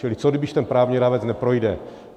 Čili co když ten právní rámec neprojde?